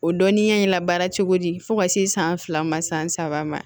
O dɔnniya in labaara cogo di fo ka se san fila ma san saba ma